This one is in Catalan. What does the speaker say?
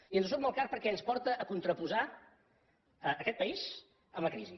i ens surt molt car perquè ens porta a contraposar aquest país amb la crisi